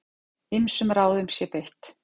Ýmsum ráðum sé beitt.